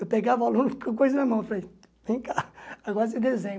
Eu pegava o aluno com a coisa na mão e falei, vem cá, agora você desenha.